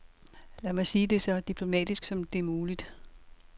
Lad mig sige det så diplomatisk som det er muligt.